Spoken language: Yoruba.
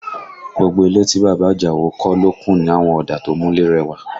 Gbogbo ilé tí bàbá Àjàó kọ́ ló kùn ní àwọn ọ̀dà tó múlé rẹwà